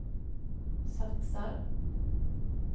satsar